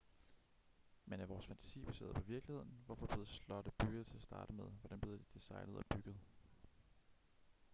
men er vores fantasi baseret på virkeligheden hvorfor blev slotte bygget til at starte med hvordan blev de designet og bygget